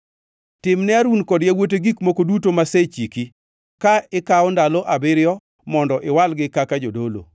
“Tim ne Harun kod yawuote gik moko duto masechiki, ka ikawo ndalo abiriyo mondo iwalgi kaka jodolo.